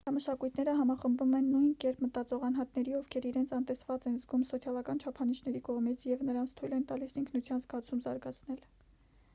ենթամշակույթները համախմբում են նույն կերպ մտածող անհատների ովքեր իրենց անտեսված են զգում սոցիալական չափանիշների կողմից և նրանց թույլ են տալիս ինքնության զգացում զարգացնել